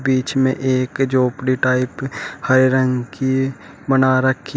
बीच में एक झोपड़ी टाइप हरे रंग की बना रखी है।